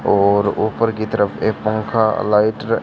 और ऊपर की तरफ एक पंखा लाइट ।